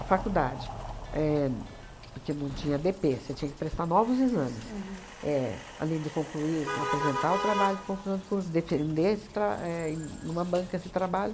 A faculdade, éh porque não tinha dê pê, você tinha que prestar novos exames, éh além de concluir, apresentar o trabalho de conclusão de curso, defender esse tra éh em uma banca esse trabalho.